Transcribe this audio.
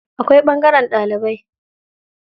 Akwai ɓangaren ɗalibai.